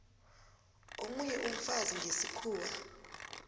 omunye umfazi ngesikhuwa